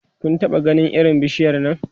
Kun taɓa ganin irin bishiyar Nan?